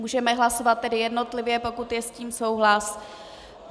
Můžeme hlasovat tedy jednotlivě, pokud je s tím souhlas.